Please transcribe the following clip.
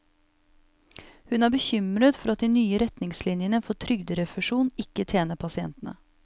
Hun er bekymret for at de nye retningslinjene for trygderefusjon ikke tjener pasientene.